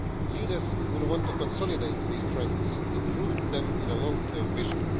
Leaders will want to consolidate these trends and root them in a long term vision.